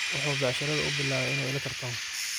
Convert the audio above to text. Wuxuu becsharada uubilawey inuu ila tartamo.